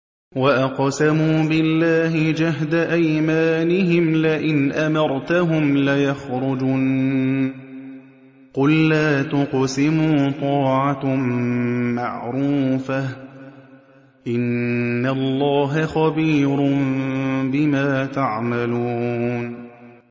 ۞ وَأَقْسَمُوا بِاللَّهِ جَهْدَ أَيْمَانِهِمْ لَئِنْ أَمَرْتَهُمْ لَيَخْرُجُنَّ ۖ قُل لَّا تُقْسِمُوا ۖ طَاعَةٌ مَّعْرُوفَةٌ ۚ إِنَّ اللَّهَ خَبِيرٌ بِمَا تَعْمَلُونَ